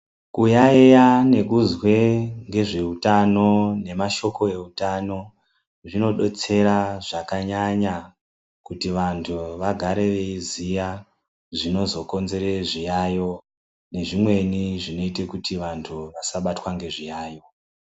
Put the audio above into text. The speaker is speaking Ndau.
Muyaiya nekuzwe ngezveutano nemashoko eutano zvinodetsera zvakanyanya kuti vantu vagare veiziya zvinozokonzere zviyayo nezvimweni zvinoite kuti vantu vasabatwa ngezviyayo.